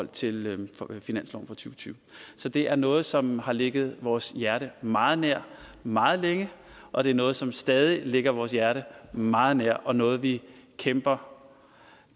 og tyve så det er noget som har ligget vores hjerte meget nær meget længe og det er noget som stadig ligger vores hjerte meget nær og noget vi kæmper